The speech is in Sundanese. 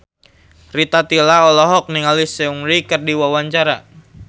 Rita Tila olohok ningali Seungri keur diwawancara